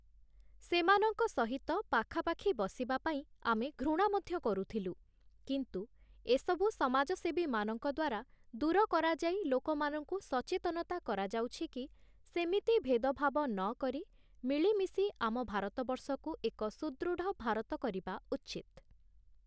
ସେମାନଙ୍କ ସହିତ ପାଖାପାଖି ବସିବା ପାଇଁ ଆମେ ଘୃଣା ମଧ୍ୟ କରୁଥିଲୁ କିନ୍ତୁ ଏସବୁ ସମାଜସେବୀମାନଙ୍କ ଦ୍ୱାରା ଦୂର କରାଯାଇ ଲୋକମାନଙ୍କୁ ସଚେତନତା କରାଯାଉଛି କି ସେମିତି ଭେଦଭାବ ନକରି ମିଳିମିଶି ଆମ ଭାରତବର୍ଷକୁ ଏକ ସୁଦୃଢ଼ ଭାରତ କରିବା ଉଚିତ୍ ।